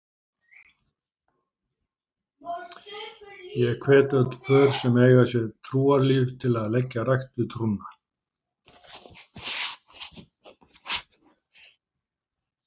Ég hvet öll pör sem eiga sér trúarlíf til að leggja rækt við trúna.